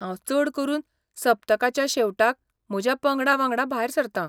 हांव चड करून सप्तकाच्या शेवटाक म्हज्या पंगडा वांगडा भायर सरतां.